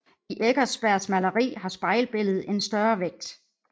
I Eckersbergs maleri har spejlbilledet en større vægt